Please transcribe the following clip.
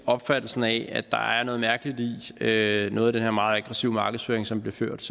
opfattelsen af at der er noget mærkeligt i noget af den her meget aggressive markedsføring som bliver ført